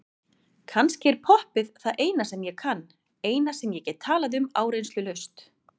Kannski er poppið það eina sem ég kann, eina sem ég get talað um áreynslulaust.